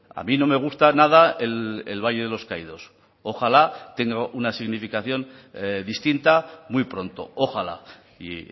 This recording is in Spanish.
a mí no me gusta nada el valle de los caídos ojala tenga una significación distinta muy pronto ojala y